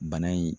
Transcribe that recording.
Bana in